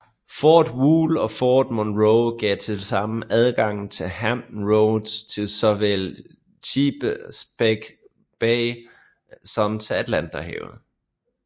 Fort Wool og Fort Monroe gav tilsammen adgang fra Hampton Roads til såvel Chesapeake Bay som til Atlanterhavet